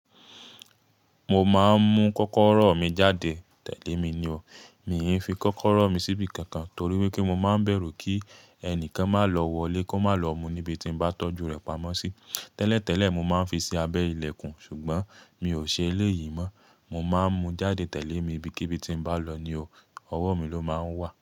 Mo máa ń mú kọ́kọ́rọ́ mi jáde tẹ̀lé mi ni o. Mi i fi kọ́kọ́rọ́ mi síbi kankan torí wípé mo máa ń bẹ̀rù kí ẹnìkan máa lọ wọlé kó má lọ mú níbi tí mo bá tọ́jú rẹ̀ pamọ́ sí. Tẹ́lẹ̀ tẹ́lẹ̀ mo máa ń fi sí abẹ́ ilẹ̀kùn, ṣùgbọ́n mi ò ṣe eléyìí mọ́. Mo máa ń mú jáde tẹ̀lé mi ibíkíbi tí n bá lọ ni o, ọwọ́ mi ló máa ń wà.